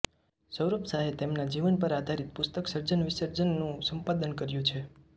સૌરભ શાહે તેમના જીવન પર આધારિત પુસ્તક સર્જનવિસર્જન નું સંપાદન કર્યું છે